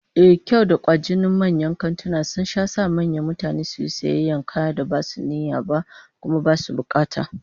Ehh, kyawun da kwajinin manyan kantuna sun sha sanya mutane su yi sayayyar kayan da basu yi niyyar ba, kuma basu bukata